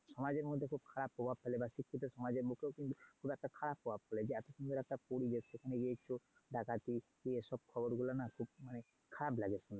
সমাজের মধ্যে খুব খারাপ প্রভাব ফেলে বা শিক্ষিত সমাজের বুকেও কিন্তু খুব খারাপ একটা খারাপ প্রভাব ফেলে। এই এতো সুন্দর একটা পরিবেশ সেখানে চোর ডাকাতি এই সব খবরগুলো না খুব মানে খারাপ লাগে শুনে।